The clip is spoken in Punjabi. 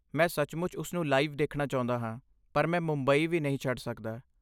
ਮੈਂ ਸੱਚਮੁੱਚ ਉਸ ਨੂੰ ਲਾਈਵ ਦੇਖਣਾ ਚਾਹੁੰਦਾ ਹਾਂ, ਪਰ ਮੈਂ ਮੁੰਬਈ ਵੀ ਨਹੀਂ ਛੱਡ ਸਕਦਾ।